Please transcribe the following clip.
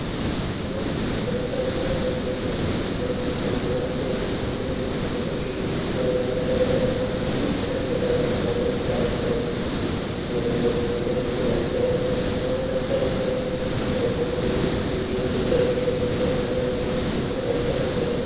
एक बहुत ही अच्छा जगह है जो की यहाँ हम लोग आते हैं घूमने के लिए बहुत ही पुराना घर है इस घर में अब नहीं रहता है कोई इसलिए हम लोग घूमने के लिए आते हैं बहुत अच्छा लगता है यह घूमने में सीढ़ियों से चढ़ के ऊपर जाने में बहुत अच्छा लगता है।